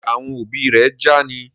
Ṣe àwọn òbí ré já ní?